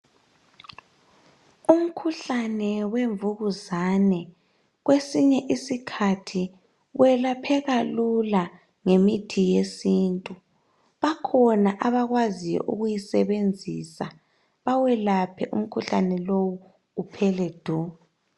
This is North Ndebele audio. Umkhuhlane wemvukuzane kwesinye isikhathi welapheka lula ngemithi yesintu. Bakhona abakwaziyo ukuyisebenzisa, bawelaphe umkhuhlane lowu uphele du.